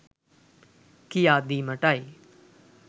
කියා දීමටයි.